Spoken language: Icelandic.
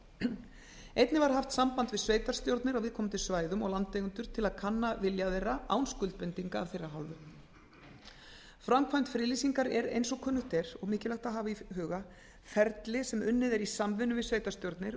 einnig var haft samband við sveitarstjórnir á viðkomandi svæðum og landeigendur til að kanna vilja þeirra án skuldbindinga af þeirra hálfu framkvæmd friðlýsingar er eins og kunnugt er ferli sem unnið er í samvinnu við sveitarstjórnir